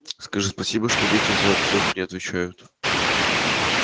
скажи спасибо что дети за отцов не отвечают